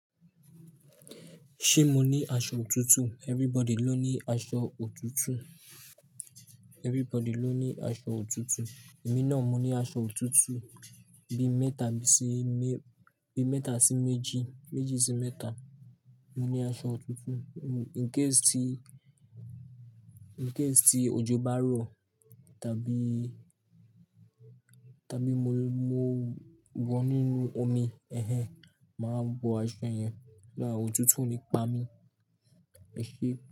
Ṣé mo ní aṣọ òtútù? Everybody ló ní aṣọ òtútù. Everybody ló ní aṣọ òtútù. Èmi náà, mo ní aṣọ òtútù bi mẹ́ta sí mé-- bi mẹ́ta sí méjì, méjì sí mẹ́ta. Mo ní aṣọ òtútù. In case tí ojó bá rọ̀, tàbí, tàbí mo, mo wọ inú omi, màá wọ aṣọ yẹn náà òtútù o ní pami. Ẹ ṣe.